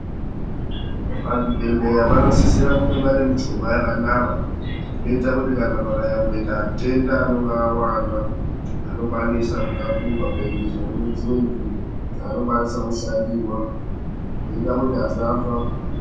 Pazvibhedhleya panosisira kunge pane michovha yakanaka inoita kuti kana pakanyamboita atenda anonga awanda anokwanisa kutakurwa kuendeswa kune dzimwe nzvimbo dzaanokwanisa kushandirwa, zvinoita kuti asafa.